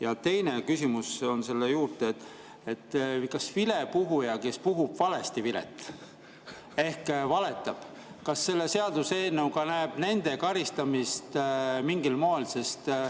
Ja teine küsimus on selle juurde: kas vilepuhujale, kes puhub valesti vilet ehk valetab, see seaduseelnõu näeb karistamist mingil moel?